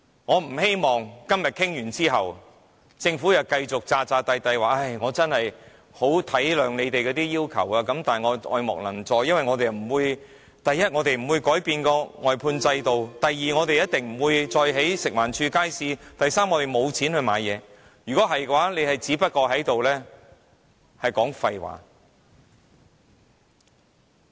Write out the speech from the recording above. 我不希望當今天的討論完結後，政府又繼續扮作很體諒我們的要求，但卻愛莫能助，因為第一，他們不會改變外判制度；第二，他們一定不會再興建由食環署管理的街市，以及第三，他們沒有資金回購項目。